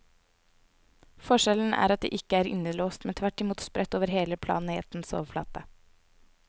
Forskjellen er at de ikke er innelåst, men tvert imot spredt over hele planetens overflate.